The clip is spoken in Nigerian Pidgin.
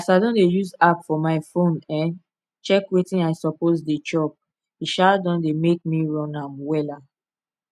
as i don dey use app for my phone um check wetin i suppose dey chop e um don dey make me run am wella